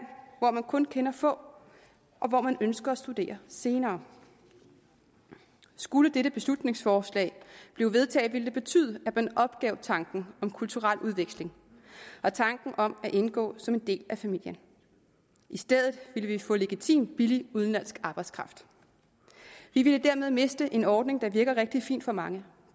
hvor man kun kender få og hvor man ønsker at studere senere skulle dette beslutningsforslag blive vedtaget ville det betyde at man opgav tanken om kulturel udveksling og tanken om at indgå som en del af familien i stedet ville vi få legitim billig udenlandsk arbejdskraft vi ville dermed miste en ordning der virker rigtig fint for mange